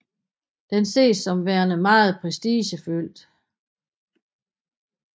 Den ses som værende meget prestigefyldt